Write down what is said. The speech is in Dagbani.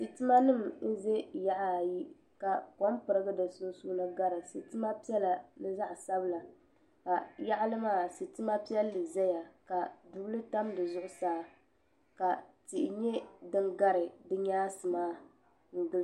Sitima nim n ʒɛ yaɣa ayi ka kom pirigi di sunsuuni gari sitima piɛla ni zaɣ sabila ka yaɣali maa sitima piɛlli ʒɛya ka dubili tam di zuɣusaa ka tihi nyɛ din gari di nyaansi maa n gili